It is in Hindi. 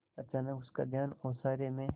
अचानक उसका ध्यान ओसारे में